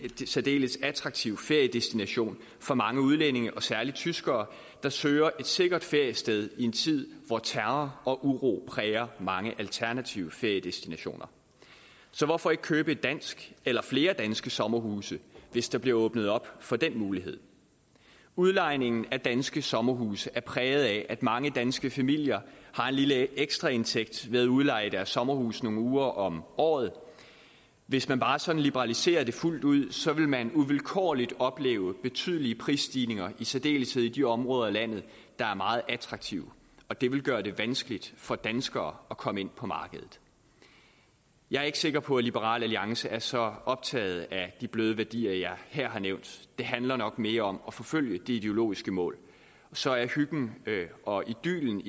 særdeles attraktiv feriedestination for mange udlændinge og særlig tyskere der søger et sikkert feriested i en tid hvor terror og uro præger mange alternative feriedestinationer så hvorfor ikke købe et dansk eller flere danske sommerhuse hvis der bliver åbnet op for den mulighed udlejningen af danske sommerhuse er præget af at mange danske familier har en lille ekstraindtægt ved at udleje deres sommerhus nogle uger om året hvis man bare sådan liberaliserer det fuldt ud vil man uvilkårligt opleve betydelige prisstigninger i særdeleshed i de områder af landet der er meget attraktive og det vil gøre det vanskeligt for danskere at komme ind på markedet jeg er ikke sikker på at liberal alliance er så optaget af de bløde værdier jeg her har nævnt det handler nok mere om at forfølge det ideologiske mål så er hyggen og idyllen